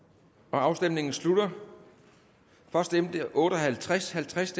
afstemningen slutter for stemte otte og halvtreds halvtreds